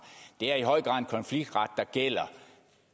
i høj grad konfliktret der gælder